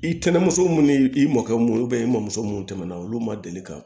I kɛnɛmuso munnu ni i mɔkɛ mun ye i mɔmuso munnu tɛmɛna olu ma deli ka